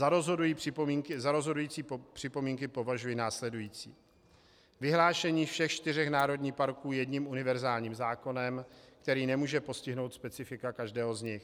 Za rozhodující připomínky považuji následující: Vyhlášení všech čtyř národních parků jedním univerzálním zákonem, který nemůže postihnout specifika každého z nich.